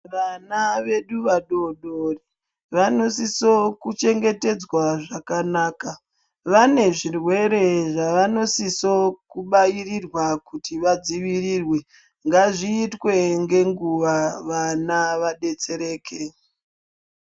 Vana vedu vadodori vanosiso kuchengetedzwa zvakanaka. Vane zvirwere zvavanosiso kubairirwa kuti vadzivirirwe ngazviite ngenguva vana vabetsereke.